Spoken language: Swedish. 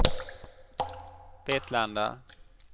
Vetlanda